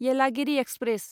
Yelagiri express